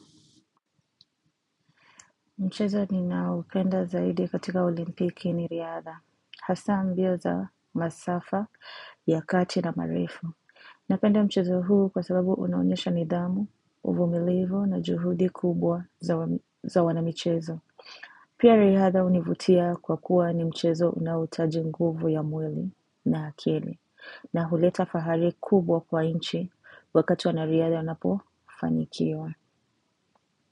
Mchezo ninaopenda zaidi katika olimpiki ni riadha, hasaa mbio za masafa ya kati na marifu. Napenda mchezo huu kwa sababu unaonyesha nidhamu, uvumilivu na juhudi kubwa za wana mchezo. Pia riadha hunivutia kwa kuwa ni mchezo unaohitaji nguvu ya mwili na akili. Na huleta fahari kubwa kwa inchi wakati wana riadha wanapo fanikiwa.